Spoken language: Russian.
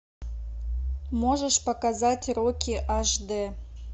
можешь показать рокки аш д